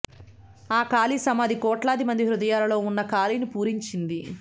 ఆ ఖాళీ సమాధి కోట్లాదిమంది హృదయాలలో ఉన్న ఖాళీని పూరించింది